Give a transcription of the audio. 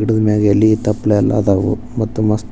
ಗಿಡಮೇಲ್ ಎಲಿ ತಪ್ಪಲ ಎಲ್ಲಾ ಅದಾವು .